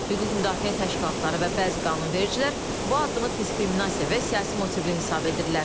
Hüquq müdafiə təşkilatları və bəzi qanunvericilər bu addımı diskriminasiya və siyasi motivli hesab edirlər.